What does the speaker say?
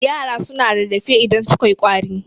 yara suna rarrafe idan sukai kwari